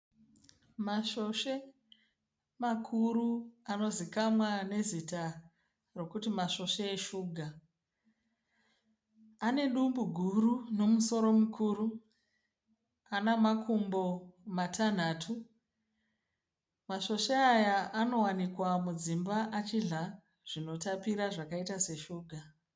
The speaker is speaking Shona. Masvosve makuru anozikamwa nezita rokuti masvosve reshuga. Ane dumbu guru nomusoro mukuru. Ane makumbo matanhatu. Masvosve aya anowanikwa mudzimba achidhla zvinotapira zvakaita seshuga.